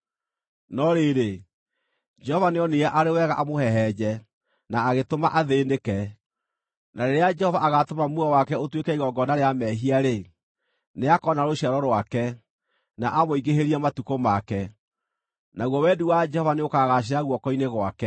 No rĩrĩ, Jehova nĩonire arĩ wega amũhehenje, na agĩtũma athĩĩnĩke, na rĩrĩa Jehova agaatũma muoyo wake ũtuĩke igongona rĩa mehia-rĩ, nĩakoona rũciaro rwake, na amũingĩhĩrie matukũ make, naguo wendi wa Jehova nĩũkagaacĩra guoko-inĩ gwake.